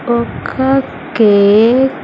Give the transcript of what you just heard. ఒక కేక్ .